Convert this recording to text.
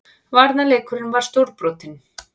Varnarleikurinn var stórbrotinn